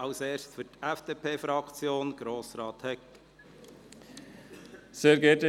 Für die FDP hat Grossrat Hegg das Wort.